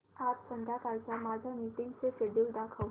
आज संध्याकाळच्या माझ्या मीटिंग्सचे शेड्यूल दाखव